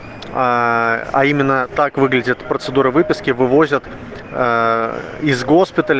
аа а именно так выглядит процедура выписки вывозят из госпиталя